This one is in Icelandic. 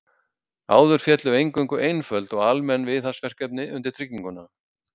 Áður féllu eingöngu einföld og almenn viðhaldsverkefni undir trygginguna.